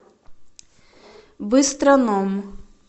быстроном